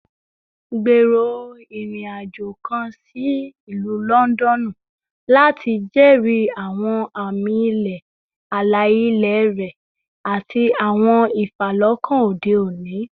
Gbero irin-ajo kan si Ilu Lọndọnu lati jẹri awọn ami-ilẹ ala-ilẹ rẹ ati awọn ifalọkan ode oni